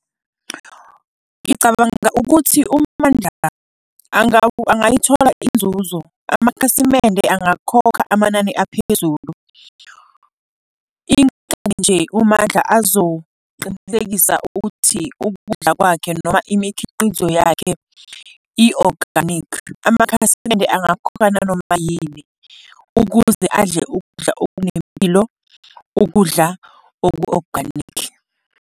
Ngicabanga ukuthi uMandla angayithola inzuzo, amakhasimende angakhokha amanani aphezulu. Into nje uMandla azoqinisekisa ukuthi ukudla kwakhe noma imikhiqizo yakhe i-organic, amakhasimende angakhokha nanoma yini, ukuze adle ukudla okunempilo, ukudla oku-organic.